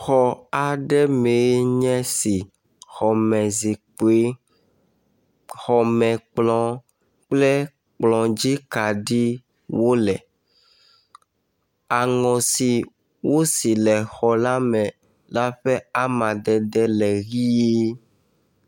Xɔ aɖe mee nye esi, ke xɔme zikpui, xɔme kplɔ kple kplɔdzi kaɖiwo le. Aŋɔ si wosi le xɔ la me la ƒe amadede le ʋe.